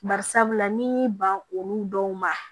Bari sabula n'i y'i ban olu dɔw ma